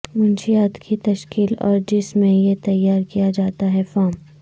منشیات کی تشکیل اور جس میں یہ تیار کیا جاتا ہے فارم